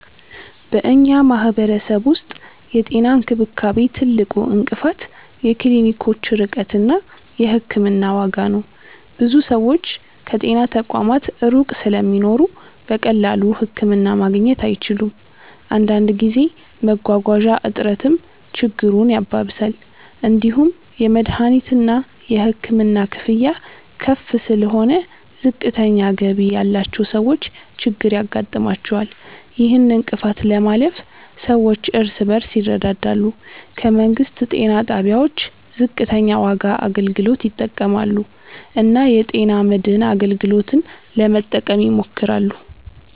በእኛ ማህበረሰብ ውስጥ የጤና እንክብካቤ ትልቁ እንቅፋት የክሊኒኮች ርቀት እና የሕክምና ዋጋ ነው። ብዙ ሰዎች ከጤና ተቋማት ሩቅ ስለሚኖሩ በቀላሉ ህክምና ማግኘት አይችሉም። አንዳንድ ጊዜ መጓጓዣ እጥረትም ችግሩን ያባብሳል። እንዲሁም የመድሀኒትና የሕክምና ክፍያ ከፍ ስለሆነ ዝቅተኛ ገቢ ያላቸው ሰዎች ችግር ያጋጥማቸዋል። ይህን እንቅፋት ለማለፍ ሰዎች እርስ በርስ ይረዳዳሉ፣ ከመንግስት ጤና ጣቢያዎች ዝቅተኛ ዋጋ አገልግሎት ይጠቀማሉ እና የጤና መድን አገልግሎትን ለመጠቀም ይሞክራሉ።